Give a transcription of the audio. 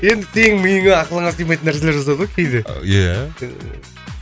енді сенің миыңа ақылыңа сыймайтын нәрселер жазады ғой кейде иә